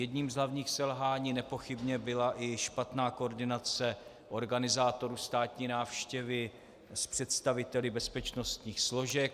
Jedním z hlavních selhání nepochybně byla i špatná koordinace organizátorů státní návštěvy s představiteli bezpečnostních složek.